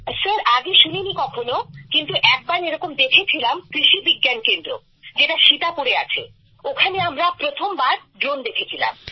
sir আগে শুনিনি কখনও কিন্তু একবার এরকম দেখেছিলাম কৃষি বিজ্ঞান কেন্দ্র যেটা সিতাপুরে আছে ওখানে আমরা প্রথমবার ড্রোন দেখেছিলাম